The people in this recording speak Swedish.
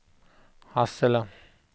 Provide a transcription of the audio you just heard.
Hassela